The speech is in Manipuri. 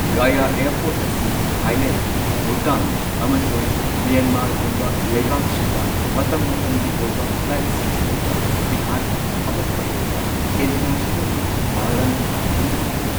ꯒꯥꯌꯥ ꯑꯦꯌꯔꯄꯣꯔꯠ ꯑꯁꯤ ꯊꯥꯏꯂꯦꯟꯗ, ꯚꯨꯇꯥꯟ, ꯑꯃꯁꯨꯡ ꯃ꯭ꯌꯥꯟꯃꯥꯔꯒꯨꯝꯕ ꯂꯩꯕꯥꯛꯁꯤꯡꯗ ꯃꯇꯝ ꯃꯇꯝꯒꯤ ꯑꯣꯏꯕ ꯐ꯭ꯂꯥꯏꯠꯁꯤꯡ ꯂꯩꯕ ꯕꯤꯍꯥꯔꯒꯤ ꯑꯃꯠꯇ ꯑꯣꯢꯔꯕ ꯢꯟꯇꯔꯅꯦꯁꯅꯦꯜꯒꯤ ꯃꯥꯂꯪ ꯍꯤꯊꯥꯡꯐꯝꯅꯤ꯫